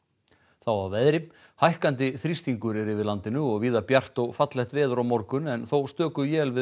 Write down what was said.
þá að veðri hækkandi þrýstingur er yfir landinu og víða bjart og fallegt veður á morgun en þó stöku él við